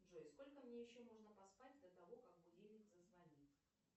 джой сколько мне еще можно поспать до того как будильник зазвонит